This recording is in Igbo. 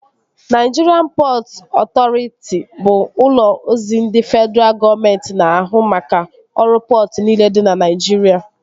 Naịjirịan Pọtụ Ọtọriti bụ ụlọ ozi ndị fedraa gọọmenti na ahụ maka ọrụ pọtụ niile dị na Naịjirịa